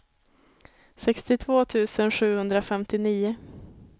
sextiotvå tusen sjuhundrafemtionio